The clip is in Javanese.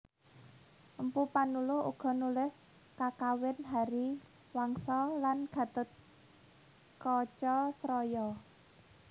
Mpu Panuluh uga nulis Kakawin Hariwangsa lan Ghatotkacasraya